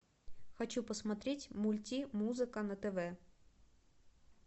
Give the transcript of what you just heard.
хочу посмотреть мульти музыка на тв